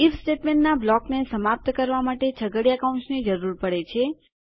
if સ્ટેટમેન્ટના બ્લોકને સમાપ્ત કરવા માટે છગડીયા કૌંસની જરૂર પડે છે